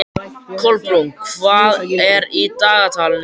Kolbrún, hvað er í dagatalinu í dag?